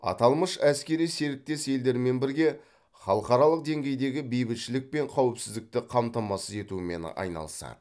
аталмыш әскери серіктес елдермен бірге халықаралық деңгейдегі бейбітшілік пен қауіпсіздікті қамтамасыз етумен айналысады